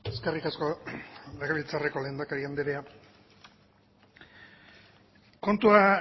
eskerrik asko legebiltzarreko lehendakari andrea kontua